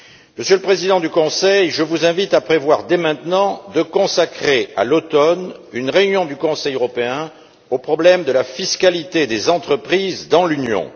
Monsieur le Président du Conseil, je vous invite à prévoir dès maintenant de consacrer, à l'automne, une réunion du Conseil européen au problème de la fiscalité des entreprises dans l'Union.